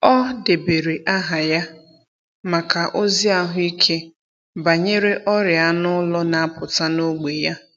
Ọ debere aha ya maka ozi ahụike banyere ọrịa anụ ụlọ na-apụta n’ógbè ya.